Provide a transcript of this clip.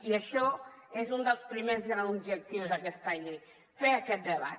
i això és un dels primers grans objectius d’aquesta llei fer aquest debat